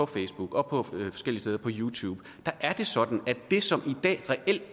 facebook og youtube er det sådan at det som i dag